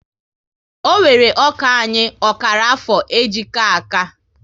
Ọ wéré ọkà anyị ọkara afọ e ji ka áká